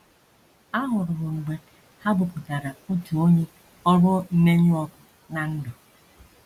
Ahụrụ m mgbe ha bupụtara otu onye ọrụ mmenyụ ọkụ ná ndụ.